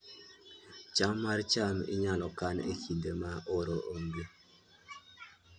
cham mar cham inyalo kan e kinde ma oro onge